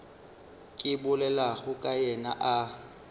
ke bolelago ka yena a